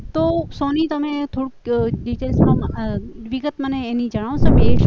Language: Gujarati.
તો સોની તમે થોડુંક ડિટેલ વિગત મને એની જણાવશો